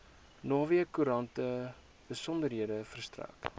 naweekkoerante besonderhede verstrek